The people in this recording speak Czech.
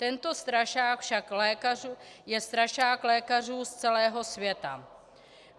Tento strašák je však strašák lékařů z celého světa.